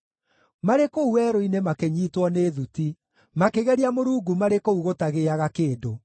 Marĩ kũu werũ-inĩ makĩnyiitwo nĩ thuti; makĩgeria Mũrungu marĩ kũu gũtagĩĩaga kĩndũ.